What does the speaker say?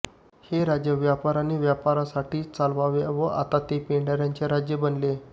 हे राज्य व्यापाऱ्यांनी व्यापाऱ्यांसाठी चालवले व आता ते पेंढाऱ्यांचे राज्य बनले